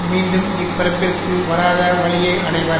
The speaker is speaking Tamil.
மீண்டும் இப்பிறப்பிற்கு வராத வழியை அடைவர்